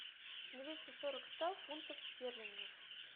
двести сорок сто фунтов стерлингов